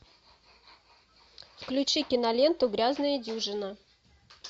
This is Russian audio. включи киноленту грязная дюжина